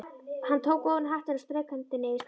Hann tók ofan hattinn og strauk hendinni yfir skallann.